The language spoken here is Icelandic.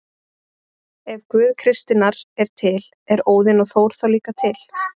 Ef Guð kristninnar er til, eru Óðinn og Þór þá líka til?